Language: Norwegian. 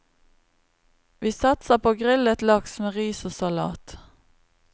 Vi satser på grillet laks med ris og salat.